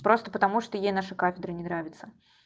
просто потому что ей наша кафедра не нравится